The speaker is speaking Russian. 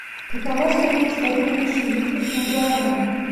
какова стоимость обмена шиллингов на гуарани